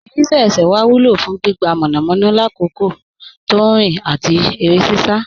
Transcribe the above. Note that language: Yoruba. Igigirísẹ̀ ẹ̀ṣẹ́ wa wúlọ̀ fún gbígbà mọ́namọ́na làkòkò tó nrin àti ere sisa